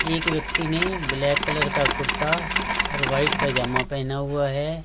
एक व्यक्ति ने ब्लैक कलर का कुर्ता और व्हाइट पजामा पहना हुआ है।